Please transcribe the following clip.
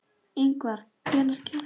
Ingvar, hvenær kemur tían?